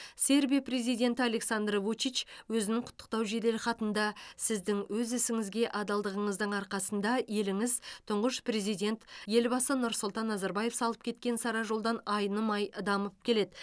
сербия президенті александр вучич өзінің құттықтау жеделхатында сіздің өз ісіңізге адалдығыңыздың арқасында еліңіз тұңғыш президент елбасы нұрсұлтан назарбаев салып кеткен сара жолдан айнымай дамып келеді